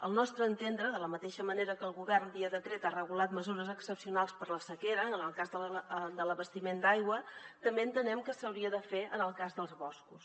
al nostre entendre de la mateixa manera que el govern via decret ha regulat mesures excepcionals per la sequera en el cas de l’abastiment d’aigua també entenem que s’hauria de fer en el cas dels boscos